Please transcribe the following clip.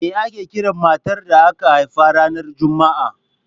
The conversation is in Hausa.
Me ake kiran matar da aka haifa ranar Juma'a?